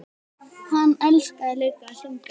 Hann elskaði líka að syngja.